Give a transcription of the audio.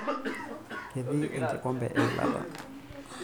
Ketii enkikombe eilata.